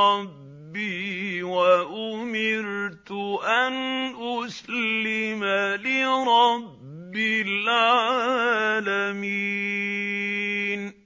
رَّبِّي وَأُمِرْتُ أَنْ أُسْلِمَ لِرَبِّ الْعَالَمِينَ